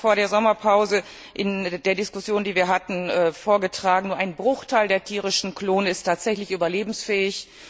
Ich habe es auch vor der Sommerpause in der Diskussion, die wir hatten, vorgetragen Nur ein Bruchteil der tierischen Klone ist tatsächlich überlebensfähig.